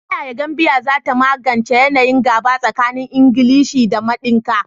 Ta yaya Gambia za ta magance yanayin gaba tsakanin Ingilishi da Mandinka?